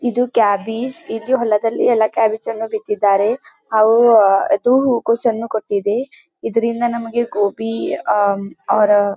ಇದು ಕ್ಯಾಬೇಜ್ ಇಲ್ಲಿ ಹೊಲದಲ್ಲಿ ಎಲ್ಲ ಕ್ಯಾಬೇಜ್ ಅನ್ನು ಬಿಟ್ಟಿದ್ದಾರೆ. ಅದು ಹೂವು ಕೊಸುವನ್ನು ಕೊಟ್ಟಿದೆ ಇದರಿಂದ ನಮಗೆ ಗೋಬಿ ಅವರ--